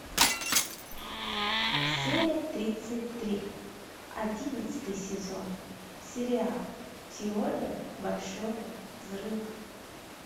серия тридцать три одиннадцатый сезон сериал теория большого взрыва